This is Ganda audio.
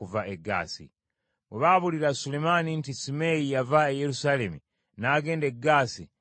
Bwe baabuulira Sulemaani nti Simeeyi yava e Yerusaalemi n’agenda e Gaasi era n’akomawo,